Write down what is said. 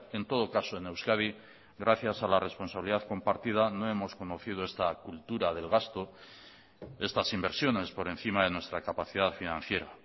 en todo caso en euskadi gracias a la responsabilidad compartida no hemos conocido esta cultura del gasto estas inversiones por encima de nuestra capacidad financiera